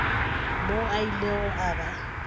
moo a ilego a ba